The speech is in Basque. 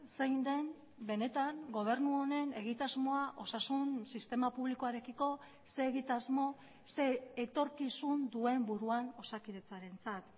zein den benetan gobernu honen egitasmoa osasun sistema publikoarekiko ze egitasmo ze etorkizun duen buruan osakidetzarentzat